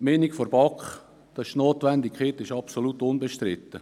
Zur Meinung der BaK: Die Notwendigkeit ist absolut unbestritten.